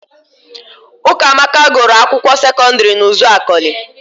Ụkamaka gụrụ akwụkwọ sekọdịrị n'Ụzakọlị.